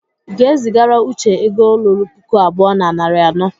ị ga- eziagara uche ego lụrụ pụkụ abụọ na nari anọ